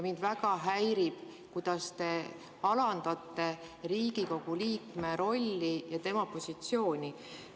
Mind väga häirib, kuidas te alandate Riigikogu liikme rolli ja tema positsiooni.